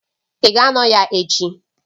Ị ga-anọ ya echi